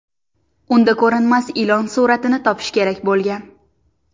Unda ko‘rinmas ilon suratini topish kerak bo‘lgan.